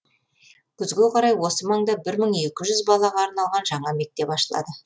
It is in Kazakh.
күзге қарай осы маңда бір мың екі жүз балаға арналған жаңа мектеп ашылады